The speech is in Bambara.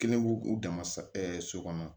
Kelen b'u u dama so kɔnɔ